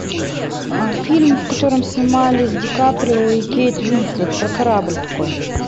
фильм в котором снимались ди каприо и кейт уинслет про корабль такой